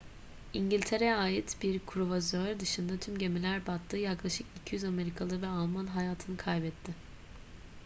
i̇ngiltere'ye ait bir kruvazör dışında tüm gemiler battı. yaklaşık 200 amerikalı ve alman hayatını kaybetti